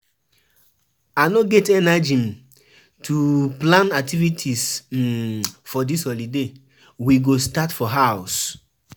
My papa don pay for di cow wey we go kill for Easter.